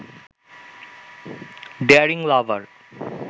daring লাভার